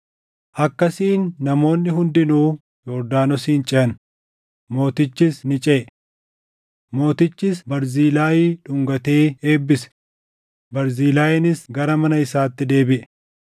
Akkasiin namoonni hundinuu Yordaanosin ceʼan; mootichis ni ceʼe. Mootichis Barzilaayii dhungatee eebbise; Barzilaayiinis gara mana isaatti deebiʼe.